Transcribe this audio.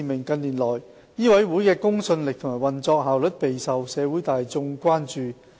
近年來，醫委會的公信力和運作效率備受社會大眾關注。